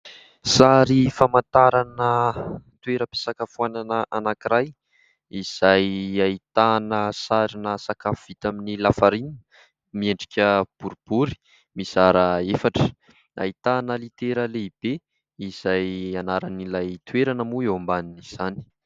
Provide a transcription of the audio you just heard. Sary famantarana toeram-pisakafoanana anankiray izay ahitana sarin'ny sakafo vita amin'ny "la farine", miendrika boribory, mizara efatra. Ahitana litera lehibe izay anaran'ilay toerana moa eo ambanin'izany.